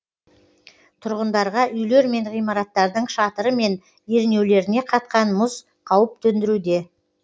тұрғындарға үйлер мен ғимараттардың шатыры мен ернеулеріне қатқан мұз қауіп төндіруде